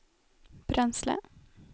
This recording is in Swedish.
bränsle